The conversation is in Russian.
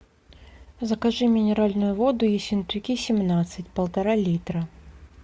закажи минеральную воду ессентуки семнадцать полтора литра